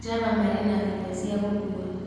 java marĩ na irio cia gũkua